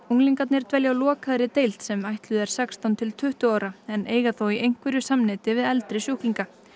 unglingarnir dvelja á lokaðri deild sem ætluð er sextán til tuttugu ára en eiga þó í einhverju samneyti við eldri sjúklinga